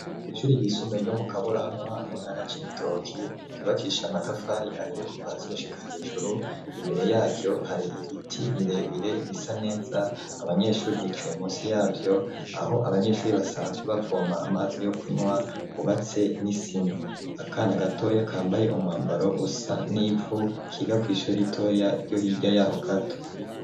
Kw'ishuri ryisumbuye ryo mu Kaburanwa mu ntara ya Cibitoki, ry'ubakishije amatafari ahiye kuva hasi gushika hejuru, imbere yaryo hari ibiti birebire bisa neza, abanyeshure bicaye munsi yavyo, aho abanyeshure basanzwe bavoma amazi yo kunywa hubatse n'isima, akana gatoya kambaye umwambaro usa n'ivu, kiga kw'ishuri ritoya ryo hirya yaho gato.